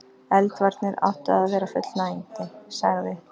Eldvarnir áttu að vera fullnægjandi.- sagði